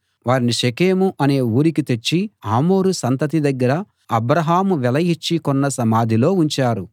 వారిని షెకెము అనే ఊరికి తెచ్చి హమోరు సంతతి దగ్గర అబ్రాహాము వెల ఇచ్చి కొన్న సమాధిలో ఉంచారు